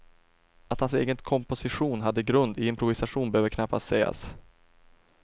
Att hans egen komposition hade grund i improvisation behöver knappast sägas.